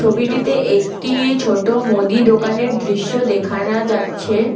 ছবিটিতে একটি ছোট মুদি দোকানের দৃশ্য দেখানা যাচ্ছে।